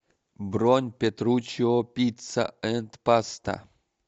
бронь петручиопицца энд паста